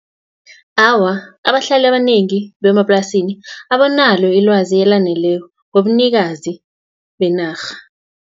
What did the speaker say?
Awa, abahlali abanengi bemaplasini, abanalo ilwazi elaneleko, ngobunikazi benarha.